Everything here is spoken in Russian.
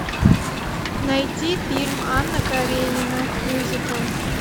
найти фильм анна каренина мюзикл